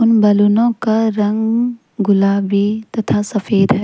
उन बैलूनों का रंग गुलाबी तथा सफेद है।